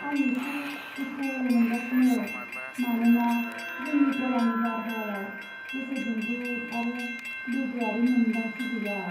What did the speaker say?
आं एसे दुखु मोनगासिनो मानोना जोंनि गलानि बारहावायाव गोसो दुंब्रुद आरो लोगोआरि मोन्दांथि गैया।